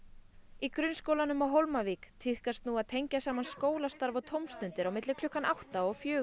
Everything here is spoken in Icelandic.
í grunnskólanum á Hólmavík tíðkast nú að tengja saman skólastarf og tómstundir á milli klukkan átta og fjögur